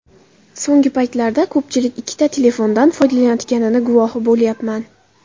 So‘nggi paytlarda ko‘pchilik ikkita telefondan foydalanayotganini guvohi bo‘lyapman.